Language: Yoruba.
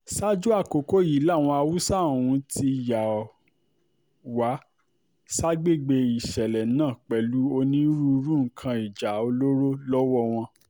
ṣáájú àkókò yìí làwọn haúsá ọ̀hún ti yà wá ságbègbè ìṣẹ̀lẹ̀ náà pẹ̀lú onírúurú nǹkan ìjà olóró lọ́wọ́ wọn